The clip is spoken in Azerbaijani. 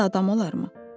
Belə də adam olarmı?